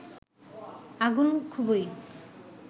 আগুন খুবই